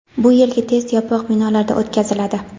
Bu yilgi test yopiq binolarda o‘tkaziladi.